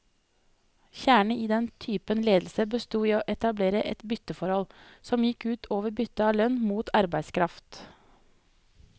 Kjernen i denne typen ledelse bestod i å etablere et bytteforhold, som gikk ut over byttet av lønn mot arbeidskraft.